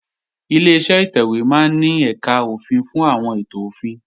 Ileṣẹ́ ìtẹ̀wé máa ń ní ẹ̀kà òfin fún àwọn ètò òfin